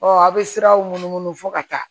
a bɛ siraw munumunu fɔ ka taa